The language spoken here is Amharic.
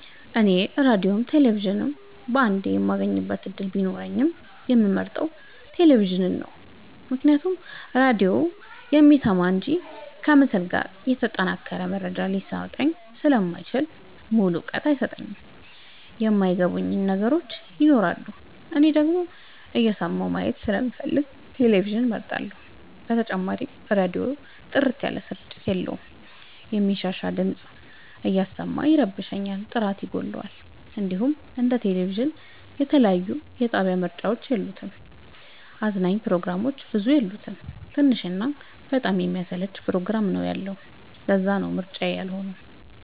እኔ ራዲዮም ቴሌቪዥንም በአንዴ የማግኘት እድል ቢኖረኝ የምመርጠው። ቴሌቪዥንን ነው ምክንያቱም ራዲዮ የሚሰማ እንጂ ከምስል ጋር የተጠናቀረ መረጃ ሊሰጠኝ ስለማይችል ሙሉ እውቀት አይሰጥም የማይ ገቡን ነገሮች ይኖራሉ። እኔ ደግሞ እየሰማሁ ማየት ስለምፈልግ ቴሌቪዥንን እመርጣለሁ። በተጨማሪም ራዲዮ ጥርት ያለ ስርጭት የለውም የሚንሻሻ ድምፅ እያሰማ ይረብሻል ጥራት ይጎለዋል። እንዲሁም እንደ ቴሌቪዥን የተለያየ የጣቢያ ምርጫ የለውም። አዝናኝ ፕሮግራሞችም ብዙ የሉት ትንሽ እና በጣም የሚያሰለች ፕሮግራም ነው ያለው ለዛነው ምርጫዬ ያልሆ ነው።